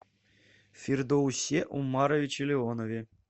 фирдаусе умаровиче леонове